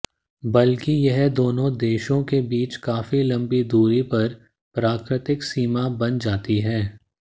बल्कि यह दोनों देशों के बीच काफी लंबी दूरी पर प्राकृतिक सीमा बन जाती है